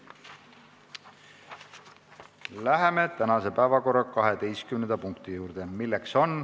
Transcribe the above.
Läheme tänase päevakorra 12. punkti juurde.